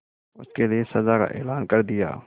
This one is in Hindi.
उसके लिए सजा का ऐलान कर दिया